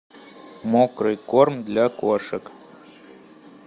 мокрый корм для кошек